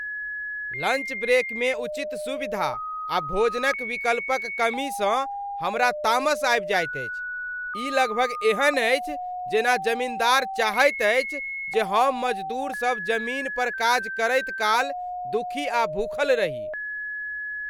Lunch break में उचित सुविधा आ भोजनक विकल्पक कमीसँ हमरा तामस आबि जाएत अछि। ई लगभग एहन अछि जेना जमीन्दार चाहैत अछि जे हम मजदूर सभ जमीन पर काज करैत काल दुखी आ भूखल रही।